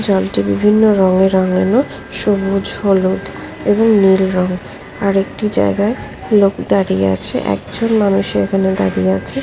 জলটি বিভিন্ন রঙে রাঙানো সবুজ হলুদ এবং নীল রং আরেকটি জায়গায় লোক দাঁড়িয়ে আছে একজন মানুষ এখানে দাঁড়িয়ে আছে ।